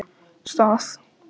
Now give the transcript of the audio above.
Stað